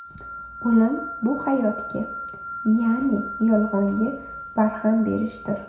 O‘lim bu hayotga, ya’ni yolg‘onga barham berishdir.